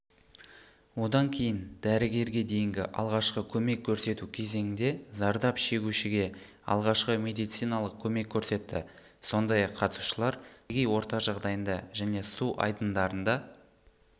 одан кейін дәрігерге дейінгі алғашқы көмек көрсету кезеңінде зардап шегушіге алғашқы медициналық көмек көрсетті сондай-ақ қатысушылар табиғи орта жағдайында және су айдындарында